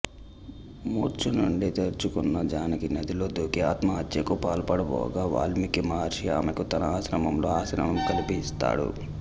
మూర్ఛనుండి తేరుకొన్న జానకి నదిలో దూకి ఆత్మహత్యకు పాల్పడబోగా వాల్మీకి మహర్షి అమెకు తన ఆశ్రమం లో ఆశ్రయం కల్పిస్తాడు